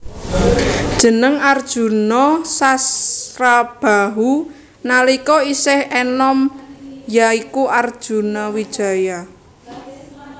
Jeneng Arjuna Sasrabahu nalika isih enom ya iku Arjunawijaya